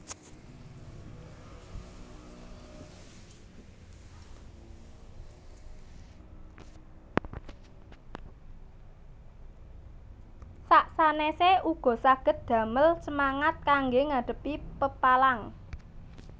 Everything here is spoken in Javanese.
Sak sanèsé uga saged damel semangat kanggé ngadhepi pepalang